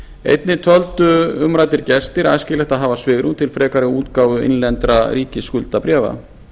einnig töldu umræddir gestir æskilegt að hafa svigrúm til frekari útgáfu innlendra ríkisskuldabréfa